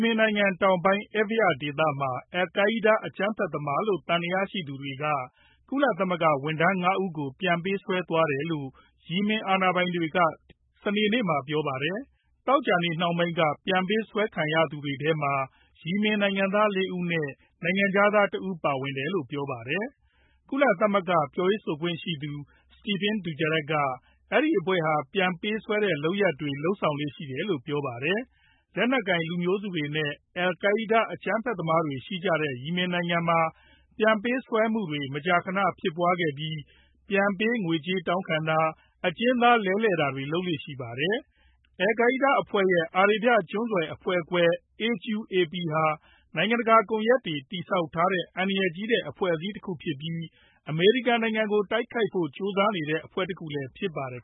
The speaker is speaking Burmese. မင်နိုင်ငံတောင်ပိုင်းက Abyan ဒေသမှာ al-Qaida အကြမ်းဖက်သမားတွေလို့ သံသယရှိသူတွေက ကုလသမဂ္ဂဝန်ထမ်း ၅ ဦးကို ပြန်ပေးဆွဲသွားတယ်လို့ ယီမင်အာဏာပိုင်တွေက စနေနေ့မှာ ပြောပါတယ်။ သောကြာနေ့နှောင်းပိုင်းက ပြန်ပေးဆွဲခံရသူတွေထဲမှာ ယီမင်နိုင်ငံသားက ၄ ဦးနဲ့ နိုင်ငံခြားသားတဦး ပါဝင်တယ်လို့ ပြောပါတယ်။ ကုလသမဂ္ဂ ပြောရေးဆိုခွင့်ရှိသူ Stephane Dujarric က အဲဒီအဖွဲ့ဟာ ပြန်ပေးဆွဲတဲ့ လုပ်ရပ်တွေ လုပ်ဆောင်လေ့ ရှိတယ်လို့ ပြောပါတယ်။ လက်နက်ကိုင် လူမျိုးစုတွေနဲ့ al-Qaida အကြမ်းဖက်သမားတွေ ရှိကြတဲ့ ယီမင်နိုင်ငံမှာ ပြန်ပေးဆွဲမှုတွေ မကြာခဏ ဖြစ်ပွားခဲ့ပြီး ပြန်ပေးငွေကြေးတောင်းခံတာ၊ အကျဉ်းသား လဲလှယ်တာတွေ လုပ်ကြပါတယ်။ al-Qaida အဖွဲ့ရဲ့ အာရေဗျကျွန်းဆွယ် အဖွဲ့ခွဲ AQAP ဟာ နိုင်ငံတကာ ကွန်ရက်တွေ တည်ဆောက်ထားတဲ့ အန္တရာယ်ကြီးတဲ့ အဖွဲ့တခုဖြစ်ပြီး အမေရိကန်နိုင်ငံကို တိုက်ခိုက်ဖို့ ကြိုးစားနေတဲ့ အဖွဲ့တခုလည်း ဖြစ်ပါတယ်